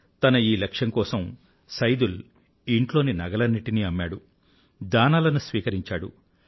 తన ఈ లక్ష్యం కోసం సైదుల్ ఇంట్లోని నగలన్నింటినీ అమ్మాడు దానాలను స్వీకరించాడు